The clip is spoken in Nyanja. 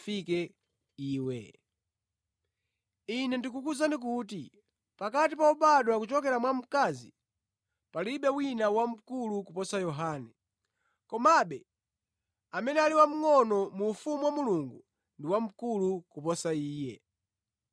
Ine ndikukuwuzani kuti pakati pa obadwa kuchokera mwa mkazi palibe wina wamkulu kuposa Yohane; komabe amene ali wamngʼono mu ufumu wa Mulungu ndi wamkulu kuposa iye.”